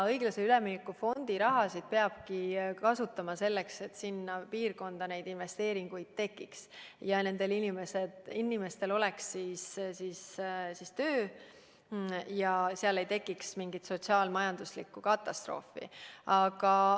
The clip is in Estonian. Õiglase ülemineku fondi raha peabki kasutama selleks, et sinna piirkonda tehtaks investeeringuid ja nendel inimestel oleks töö, et seal ei tekiks mingit sotsiaal-majanduslikku katastroofi.